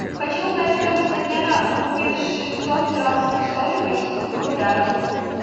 хочу узнать стоимость обмена купив шестьсот перуанских солей в российских рублях